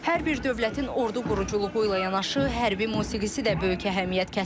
Hər bir dövlətin ordu quruculuğu ilə yanaşı hərbi musiqisi də böyük əhəmiyyət kəsb edir.